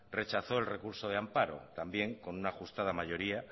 rechazó el recurso de amparo también con una ajustada mayoría